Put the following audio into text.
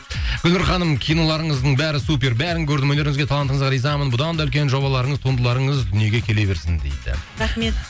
гүлнұр ханым киноларыңыздың бәрі супер бәрін көрдім өнеріңізге талантыңызға ризамын бұдан да үлкен жобаларыңыз туындыларыңыз дүниеге келе берсін дейді рахмет